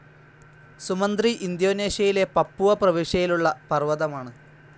Sumantri ഇന്തോനേഷ്യയിലെ Papua പ്രവിശ്യയിലുള്ള പർവതമാണ്.